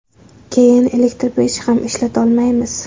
Keyin elektr pech ham ishlatolmaymiz.